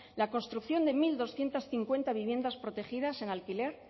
la construcción de mil doscientos cincuenta viviendas protegidas en alquiler